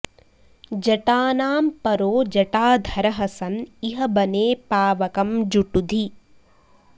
जटानां परो जटाधरः सन् इह बने पावकं जुटुधि